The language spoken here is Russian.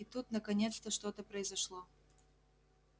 и тут наконец-то что-то произошло